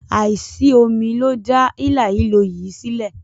Àìsómi ló dá hílàhílo yìí sílẹ̀.